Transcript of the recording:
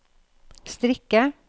strikke